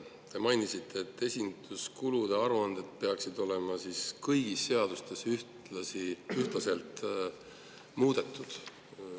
Te mainisite, et esinduskulude aruandeid, peaks kõigis seadustes ühtlaselt muutma.